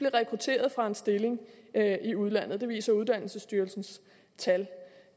rekrutteret fra en stilling i udlandet det viser uddannelsesstyrelsens tal